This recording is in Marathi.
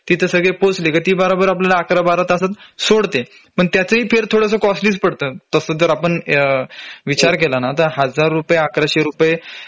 तिथं सगळे पोहोचले कि ती बराबर आपल्याला ११ १२ तासात सोडत्यात पण त्याचाही fare थोडासा कॉस्टलीच पडतं तसं तर आपण विचार केला ना तर १००० रुपये ११००